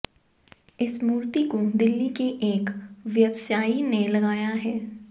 इस मूर्ति को दिल्ली के एक व्यवसायी ने लगाया है